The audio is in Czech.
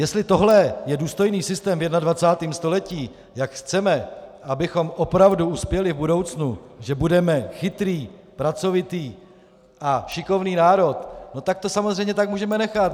Jestli tohle je důstojný systém v 21. století, jak chceme, abychom opravdu uspěli v budoucnu, že budeme chytrý, pracovitý a šikovný národ, no tak to samozřejmě tak můžeme nechat.